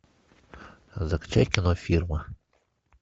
закачай кино фирма